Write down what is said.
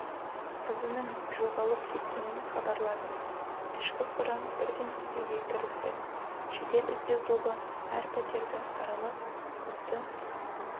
қызының жоғалып кеткенін хабарлады ішкі құрам бірден іздеуге кірісті жедел-іздеу тобы әр пәтерді аралап қызды